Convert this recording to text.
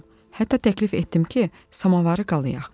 Hətta təklif etdim ki, samovarı qalayaq.